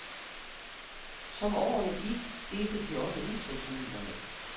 Som årene gik, delte de også udtryksmidlerne.